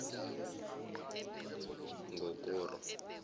ngokora